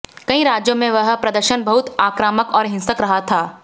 कई राज्यों में यह प्रदर्शन बहुत आक्रामक और हिंसक रहा था